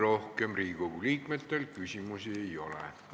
Rohkem Riigikogu liikmetel küsimusi ei ole.